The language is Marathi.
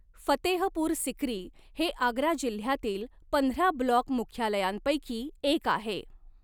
फतेहपूर सिक्री हे आग्रा जिल्ह्यातील पंधरा ब्लॉक मुख्यालयांपैकी एक आहे.